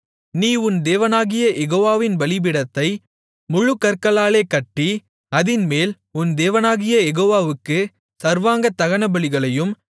நீ உன் தேவனாகிய யெகோவாவின் பலிபீடத்தை முழுக்கற்களாலே கட்டி அதின்மேல் உன் தேவனாகிய யெகோவாவுக்குச் சர்வாங்கதகனபலிகளையும்